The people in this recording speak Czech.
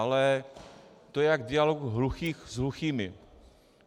Ale to je jak dělal hluchý s hluchými.